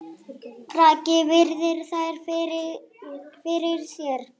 Raggi virðir þær fyrir sér.